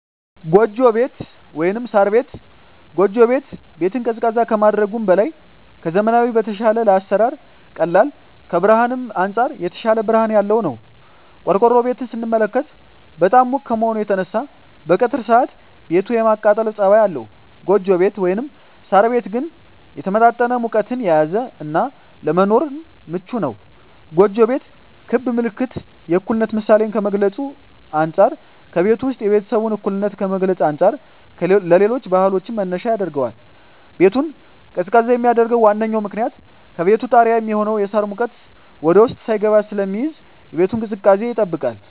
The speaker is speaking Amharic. ጎጆ ቤት(ሳር ቤት)። ጎጆ ቤት ቤትን ቀዝቃዛ ከማድረጉም በላይ ከዘመናዊዉ በተሻለ ለአሰራር ቀላል ከብርሀንም አንፃር የተሻለ ብርሀን ያለዉ ነዉ። ቆርቆሮ ቤትን ስንመለከት በጣም ሙቅ ከመሆኑ የተነሳ በቀትር ሰአት ቤቱ የማቃጠል ፀባይ አለዉ ጎጆ ቤት (ሳር ቤት) ግን የተመጣጠነ ሙቀትን የያዘ እና ለመኖርም ምቹ ነዉ። ጎጆ ቤት ክብ ምልክት የእኩልነት ምሳሌን ከመግልፁ አንፃ ከቤቱ ዉስጥ የቤተሰቡን እኩልነት ከመግለፅ አንፃር ለሌሎች ባህሎችም መነሻ ያደርገዋል። ቤቱን ቀዝቃዛ የሚያደርገዉ ዋነኛዉ ምክንያት ከቤቱ ጣሪያ የሚሆነዉ የሳር ሙቀት ወደዉስጥ ሳይስገባ ስለሚይዝ የቤቱን ቅዝቃዜ ይጠብቃል።